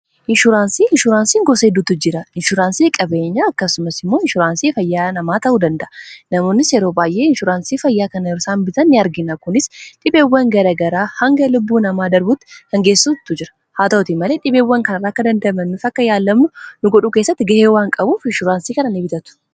inshuraansii inshuuraansiin gosa hidduttu jira inshuraansii qabeenya akkasumas immoo inshuraansii fayyaa namaa ta'uu danda'a namoonnis yeroo baa'ee inshuraansii fayyaa kana irsaan bita ni argina kunis dhibeewwan garagaraa hanga lubbuu namaa darbutti hangeessuttu jira haa ta'uoti malee dhibeewwan kanraakka dandamannif akka yaallamuu lugudhu kessatti ga'ee waan qabuuf inshuraansii kana n bitatu